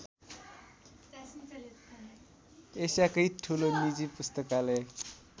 एसियाकै ठूलो निजी पुस्तकालय